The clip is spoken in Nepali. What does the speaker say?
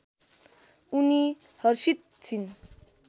उनी हर्षित छिन्